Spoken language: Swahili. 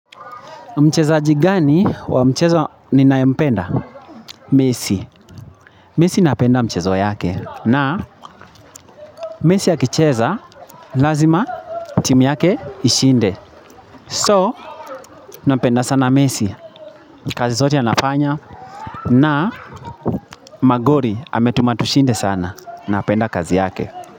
Mchezaji gani wa mchezo ninayempenda messi. Messi napenda michezo yake na messi akicheza lazima timu yake ishinde. So, napenda sana messi, kazi zote anafanya na magoli ametuma tushinde sana napenda kazi yake.